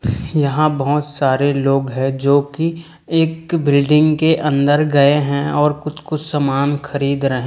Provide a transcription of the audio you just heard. यहां बहोत सारे लोग हैं जो की एक बिल्डिंग के अंदर गए हैं और कुछ कुछ समान खरीद रहे--